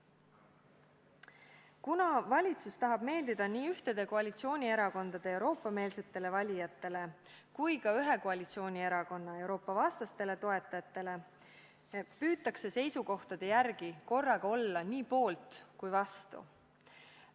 Ent kuna valitsus tahab meeldida nii kahe koalitsioonierakonna Euroopa-meelsetele valijatele kui ka ühe koalitsioonierakonna Euroopa-vastastele toetajatele, püütakse oma seisukohtades olla korraga nii poolt kui ka vastu.